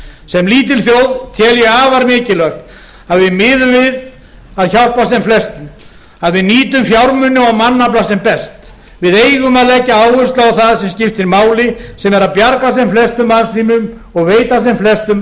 sem lítil þjóð tel ég afar mikilvægt að við miðum við að hjálpa sem flestum að við nýtum fjármuni og mannafla sem best við eigum að leggja áherslu á það sem skiptir máli sem er að bjarga sem flestum mannslífum og veita sem flestum